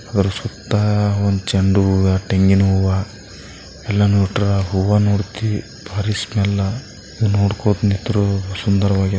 ಒಂದು ಚೆಂಡು ಹೂವ ತೆಂಗಿನ ಹೂವ ಎಲ್ಲ ನೋ ಡೇ ಹೂವ ನೋಡಿಕಿ ನೋಡ್ಕೊಂತಿಂದ್ರೇ ಸುಂದರವಾಗಿದೆ .